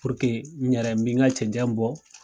n yɛrɛ mi n ka cɛncɛn bɔ